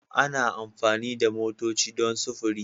Ana amfani da motoci don sufuri